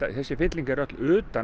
þessi fylling er öll utan